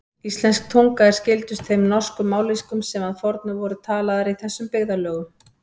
Íslensk tunga er skyldust þeim norsku mállýskum sem að fornu voru talaðar í þessum byggðarlögum.